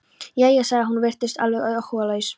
Jæja? sagði hún og virtist alveg áhugalaus.